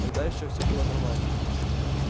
тогда ещё все было нормально